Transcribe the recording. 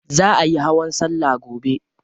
Za ayi hawan salla gobe.